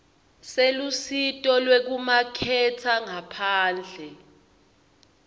selusito lwekumaketha ngaphandle